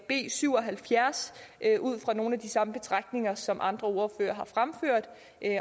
b syv og halvfjerds ud fra nogle af de samme betragtninger som andre ordførere har fremført